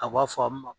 A b'a fɔ a ma